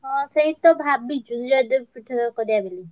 ହଁ ସେଇ ତ ଭାବିଛୁ ଜୟଦେବ କରିଆ ବୋଲି।